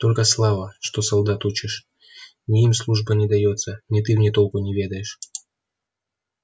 только слава что солдат учишь ни им служба не даётся ни ты в ней толку не ведаешь